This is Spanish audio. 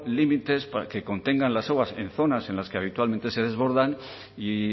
límites que contengan las aguas en zonas en las que habitualmente se desbordan y